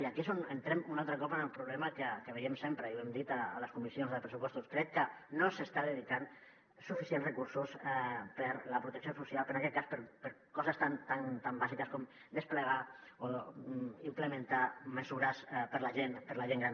i aquí és on entrem un altre cop en el problema que veiem sempre i ho hem dit a les comissions de pressupostos crec que no s’estan dedicant suficients recursos a la protecció social en aquest cas a coses tan bàsiques com desplegar o implementar mesures per a la gent gran